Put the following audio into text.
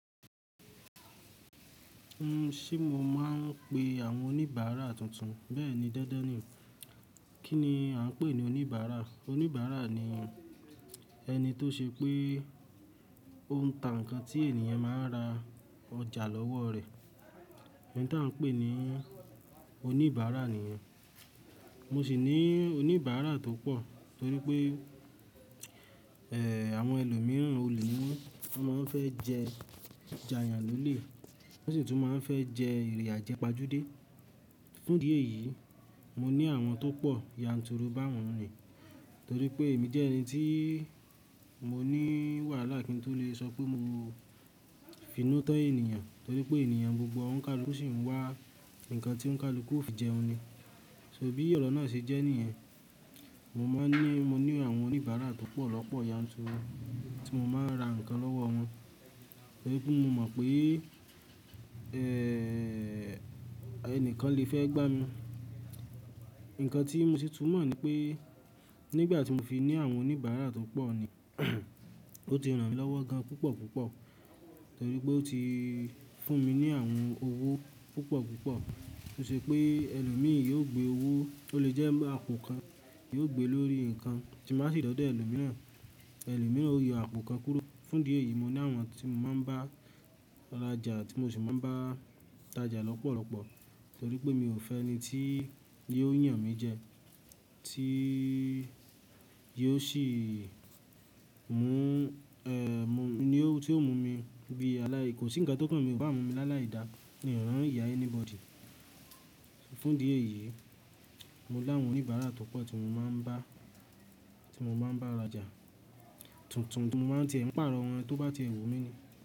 Ṣé mo máa ń pe àwọn oníbàárà tuntun? Bẹ́ẹ̀ni dandan ni. Kí ni a ń pè ní oníbàárà? Oníbàárà ni ẹni tó ṣe pé ó ń ta nǹkan tí ènìyàn máa ń ra ọjà lọ́wọ́ rẹ̀. Ẹ̀ní tí a ń pè ní oníbàárà nìyẹn. Mo sì ní oníbàárà tó pọ̀ torí pé, ẹ́, àwọn ẹlòmíràn olè ni wọ́n. Wọ́n máa ń fẹ́ jẹ jà yàn lólé, wọ́n sì tún máa ń fẹ́ jẹ ìrẹ̀ ajẹpajude. Fún díẹ̀ yìí, mo ní àwọn tó pọ̀ yanturu bá wọn ni. Torí pé èmi jẹ́ ẹni tí mo ní wàhálà kí n tó lè sọ pé mo f'inú tọ́ ènìyàn. Torí pé ènìyàn gbogbo ọ̀nkàlú sì ń wá nǹkan tí ọ̀nkàlú kò fi jẹun ni. So bí ọ̀rọ̀ náà ṣe jẹ́ nìyẹn. Mo máa ń ní, mo ní àwọn oníbàárà tó pọ̀ lọ́pọ̀lọpọ̀ yanturu tí mo máa ń ra nǹkan lọ́wọ́ wọn. Torí pé mo mọ̀ pé, ẹ́, ẹnìkan lè fẹ́ gbá mi. Ǹkan tí mo sì tún mọ̀ ni pé nígbà tí mo fi ní àwọn oníbàárà tó pọ̀ ni ó ti ràn mí lọ́wọ́ gan púpọ̀ púpọ̀. Torí pé ó ti fún mi ní àwọn owó púpọ̀ púpọ̀ tó ṣe pé ẹlòmíràn yóò gbé owó, ó lè jẹ́ àpò kan yóò gbé lórí nǹkan tí màá sì dọ́dẹ́ ẹlòmíràn. Ẹlòmíràn ó yọ́ àpò kan kúro. Fún díẹ̀ yìí mo ní àwọn tí mo máa ń bá rajà àti mo sì máa ń bá tajà lọ́pọ̀lọpọ̀. Torí pé mi ò fẹ́ ẹni tí yóò yàn mí jẹ, tí yóò sì mú, ẹ́, mú, ni ó, tí yóò mú mi bí aláì, kò sí ǹkan tó kún mi, kò bá mú mi lá láìda nìran ìyà anybody. Fún díẹ̀ yìí, mo ní àwọn oníbàárà tó pọ̀ tí mo máa ń bá, tí mo máa ń bá rajà, tuntun tí mo máa ń tẹ̀ ẹ̀, pààrọ̀ wọ́n tó bá ti èwù mí ni.